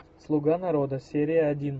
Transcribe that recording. слуга народа серия один